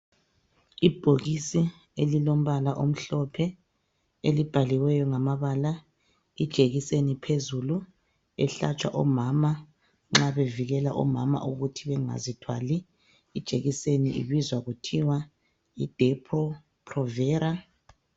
Ibhokisi elilombala omhlophe elibhaliweyo ngamabala ijekiseni iphezulu ehlatshwa omama nxa bevikela omama ukuthi bangazithwali. Ijekiseni ibizwa kuthiwa yi Depo provera